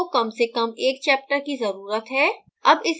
report style को कम से कम एक chapter की ज़रुरत है